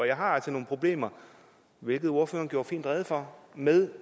jeg har altså nogle problemer hvilket ordføreren gjorde fint rede for med